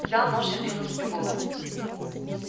взял нож и отрезал себе голову